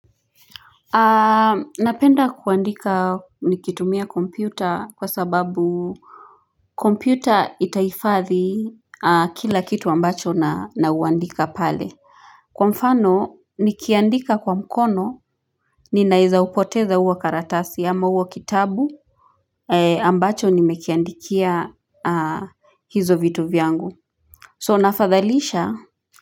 Napenda kuandika nikitumia kompyuta kwa sababu kompyuta itahifadhi kila kitu ambacho naandika pale kwa mfano nikiandika kwa mkono ninaweza poteza hiyo karatasi ama hicho kitabu ambacho nimekiandikia hivyo vitu vyangu so nafadhalisha.